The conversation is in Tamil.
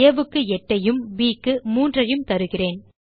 ஆ க்கு 8ஐயும் ப் க்கு 3ஐயும் தருகிறேன்